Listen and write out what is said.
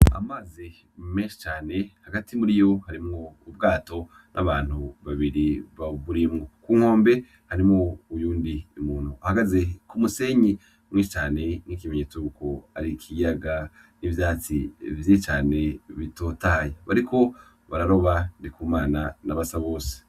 Amazi menshi cane hagati muriyo hariho ubwato n'abantu babiri bawurimwo, ku nkombe harimwo uyundi muntu ahagaze ku musenyi mwinshi cane nk'ikimenyetso yuko ari ikiyaga n'ivyatsi vyinshi cane bitotahaye, bariko bararoba Ndikumana na Basabose.